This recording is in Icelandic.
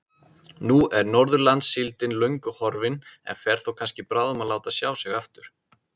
Nú er Norðurlandssíldin löngu horfin en fer þó kannski bráðum að láta sjá sig aftur.